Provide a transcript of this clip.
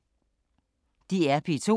DR P2